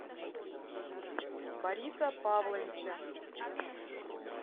бориса павловича